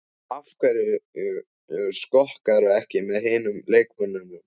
Af hverju skokkarðu ekki með hinum leikmönnunum?